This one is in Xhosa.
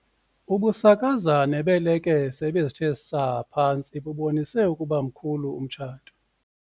Ubusakazane beelekese ebezithe saa phantsi bubonise ukuba mkhulu umtshato.